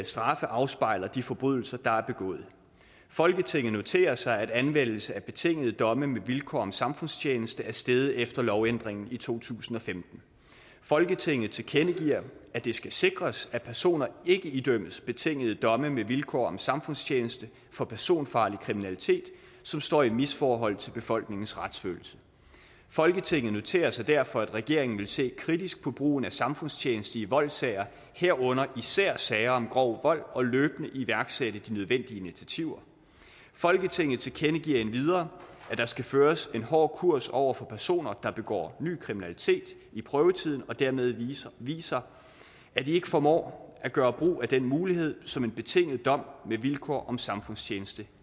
straffe afspejler de forbrydelser der er begået folketinget noterer sig at anvendelse af betingede domme med vilkår om samfundstjeneste er steget efter lovændringen i to tusind og femten folketinget tilkendegiver at det skal sikres at personer ikke idømmes betingede domme med vilkår om samfundstjeneste for personfarlig kriminalitet som står i misforhold til befolkningens retsfølelse folketinget noterer sig derfor at regeringen vil se kritisk på brugen af samfundstjeneste i voldssager herunder især sager om grov vold og løbende iværksætte de nødvendige initiativer folketinget tilkendegiver endvidere at der skal føres en hård kurs over for personer der begår ny kriminalitet i prøvetiden og dermed viser at de ikke formår at gøre brug af den mulighed som en betinget dom med vilkår om samfundstjeneste